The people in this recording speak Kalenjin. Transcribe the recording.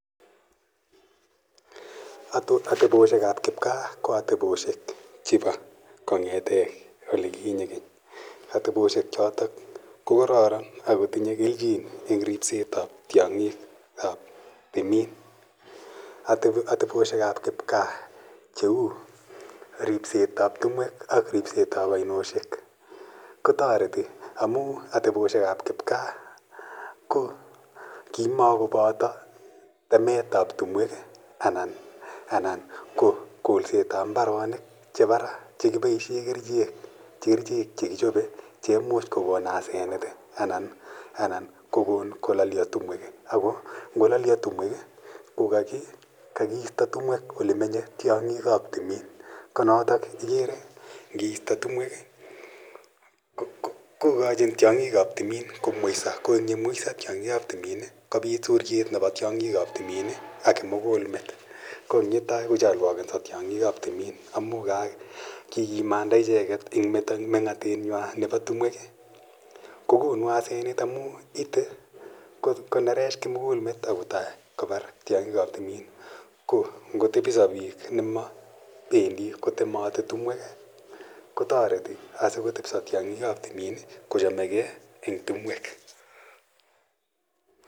Ateposhek ap kipka ko ateposhek chepo kong'ete ole kinye kenye. Ateposhek chotok ko kararan ak kotinye kelchin in eng' ripest ap tiang'ik ap timin. Ateposhek ap kipkaa cheu ripset ap timwek ak ripset ap ainoshek ko tareti amu ateposhek ap kipaka ko kimakopata temeet ap timwek anan ko kolset al mbaronik chepa ra che kipaishe kerichek che kichope che imuch kokon asenet anan ko kon kolalia timwek. Ako ngo lalia tumwek ko kakiista timwek ole menye tiang'ik ap timin. Ko notok ikere nge ista timwek ko kachin tiang'ik ap timin komweisa. Ko ang' ye mweisa tiang'ik ap timit, kopit suriet nepo tiang'ik ap timin ak kimugul met. Ang' ye tai kochalwakensa tiang'ik ap timinin amu kikimanda icheget eng' meng'atetng'wa nepo timwek ko konu asenet ne oo amu ite konerech kimugulmet ako tai kopar tiang'ik ap timin. Ko ngotepisa piik ne ma pendi kotemati timwek kotareti asiko ko chame gei eng' timwek.